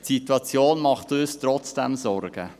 Die Situation macht uns trotzdem Sorgen.